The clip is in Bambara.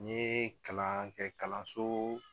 N ye kalan kɛ kalanso